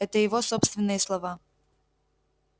это его собственные слова